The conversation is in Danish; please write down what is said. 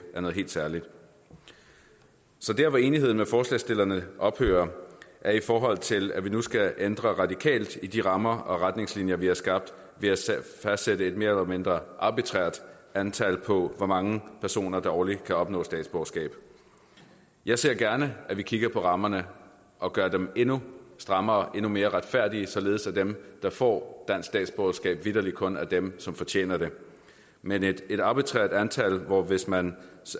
er noget helt særligt så der hvor enigheden med forslagsstillerne ophører er i forhold til at vi nu skal ændre radikalt i de rammer og retningslinjer vi har skabt ved at fastsætte et mere eller mindre arbitrært antal på hvor mange personer der årligt kan opnå statsborgerskab jeg ser gerne at vi kigger på rammerne og gør dem endnu strammere endnu mere retfærdige således at dem der får dansk statsborgerskab vitterlig kun er dem som fortjener det men et et arbitrært antal hvor man hvis man